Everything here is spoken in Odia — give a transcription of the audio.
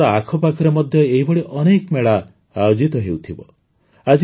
ଆପଣଙ୍କ ଆଖପାଖରେ ମଧ୍ୟ ଏହିଭଳି ଅନେକ ମେଳା ଆୟୋଜିତ ହେଉଥିବ